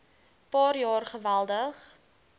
paar jaar geweldig